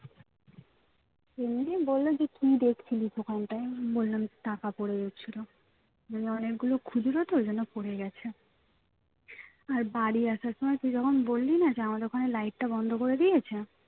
এমনি বললো যে কি দেখছিলি ওখানটায় বললাম টাকা পড়ে গেছিল মানে অনেকগুলো খুচরো তো ওই জন্য পড়ে গেছে আর বাড়ি আসার সময় তুই যখন বললি না যে আমাদের ওখানে light টা বন্ধ করে দিয়েছে